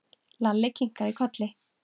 Lalli kinkaði kolli.